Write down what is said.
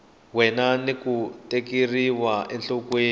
wena ni ku tekeriwa enhlokweni